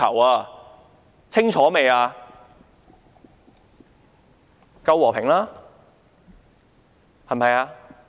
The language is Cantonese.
還不夠和平嗎？